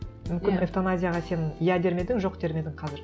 мүмкін эвтаназияға сен иә дер ме едің жоқ дер ме едің қазір